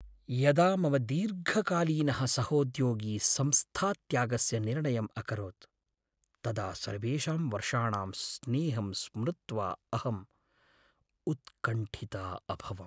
यदा मम दीर्घकालीनः सहोद्योगी संस्थात्यागस्य निर्णयम् अकरोत्, तदा सर्वेषां वर्षाणां स्नेहं स्मृत्वा अहं उत्कण्ठिता अभवम्।